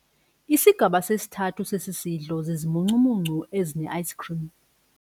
Isigaba sesithathu sesi sidlo zizimuncumuncu ezineayisikhrimu.